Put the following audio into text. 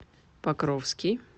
покровский